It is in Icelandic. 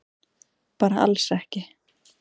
Bara alls ekki.